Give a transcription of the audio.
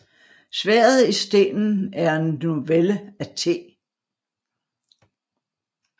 Sværdet i stenen er en novelle af T